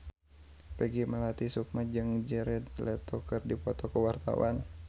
Peggy Melati Sukma jeung Jared Leto keur dipoto ku wartawan